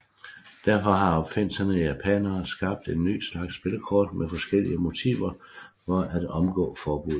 Derfor har opfindsomme japanere skabt nye slags spillekort med forskellige motiver for at omgå forbuddet